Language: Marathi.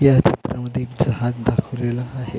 ह्या चित्रामद्धे एक जहाज दाखवलेलं आहे.